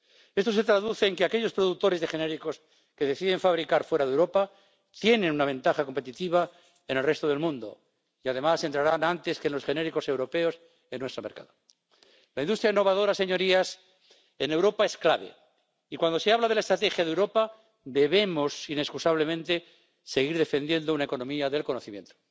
Esto se traduce en que aquellos productores de genéricos que deciden fabricar fuera de Europa tienen una ventaja competitiva en el resto del mundo y, además, sus productos entrarán antes que los genéricos europeos en nuestro mercado. La industria innovadora, señorías, en Europa es clave y cuando se habla de la estrategia de Europa debemos inexcusablemente seguir defendiendo una economía del conocimiento.